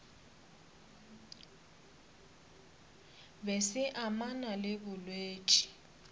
be se amana le bolwetši